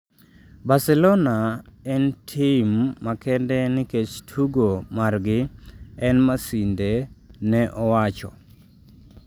"Barcelona en tim makende nikech tugo margi, en masinde", ne owacho.